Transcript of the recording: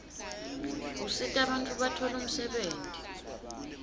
usita bantfu batfole umsebenti